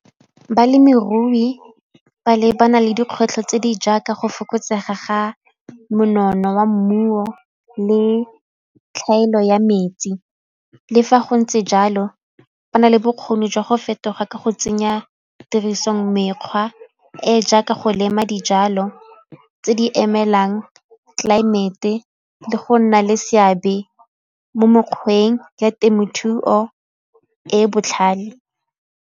Balemirui ba lebana le dikgwetlho tse di jaaka go fokotsega ga monono wa mmuo le tlhaelo ya metsi. Le fa go ntse jalo ba na le bokgoni jwa go fetoga ka go tsenya tirisong mekgwa e e jaaka go lema dijalo tse di emelang tlelaemete le go nna le seabe mo mekgweng ya temothuo e e botlhale.